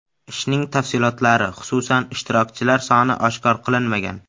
Ishning tafsilotlari, xususan, ishtirokchilar soni oshkor qilinmagan.